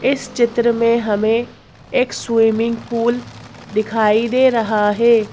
इस चित्र में हमें एक स्विमिंग पूल दिखाई दे रहा है।